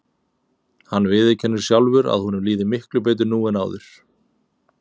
Hann viðurkennir sjálfur að honum líði miklu betur nú en áður.